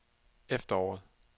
efteråret